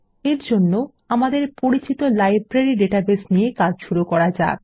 এর জন্য আমাদের পরিচিত লাইব্রেরী ডাটাবেস নিয়ে কাজ শুরু করা যাক